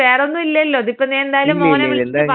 ഇല്ല ഇല്ല ഞാനിതൊന്ന് ഇക്കാര്യം ഒന്ന് പറയട്ടെ.